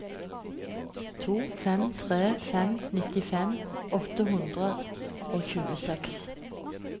to fem tre fem nittifem åtte hundre og tjueseks